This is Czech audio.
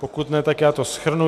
Pokud ne, tak já to shrnu.